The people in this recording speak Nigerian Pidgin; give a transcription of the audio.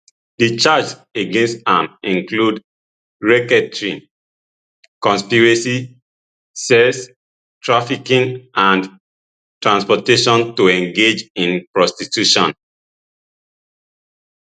di charges against am include racketeering conspiracy sex trafficking and transportation to engage in prostitution